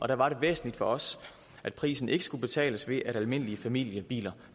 der var det væsentligt for os at prisen ikke skulle betales ved at almindelige familiebiler